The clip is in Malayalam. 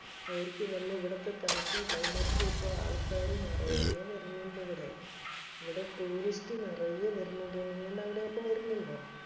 അവർക്ക് വന്ന് ഇവിടത്തെ തണുപ്പും climate ഇപ്പൊ ആൾക്കാര് നറയെ വര്നിണ്ട് ഇവിടെ. ഇവിടെ tourist നറയെ വര്നിണ്ട്. നിങ്ങൾടെ അവിടെയൊക്കെ വര്ണിണ്ടൊ?